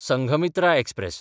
Sanghamitra express